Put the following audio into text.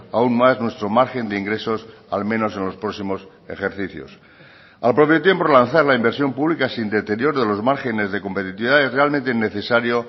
aún más nuestro margen de ingresos al menos en los próximos ejercicios al propio tiempo lanzar la inversión pública sin deterioro de los márgenes de competitividad es realmente necesario